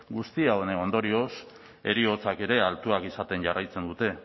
guzti honen ondorioz heriotzak ere altuak izaten jarraitzen dute